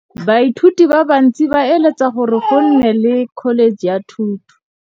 Baithuti ba bantsi ba eletsa gore go nne le pusô ya Dkholetšhe tsa Thuto.